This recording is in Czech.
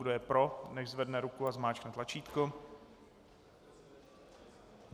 Kdo je pro, nechť zvedne ruku a zmáčkne tlačítko.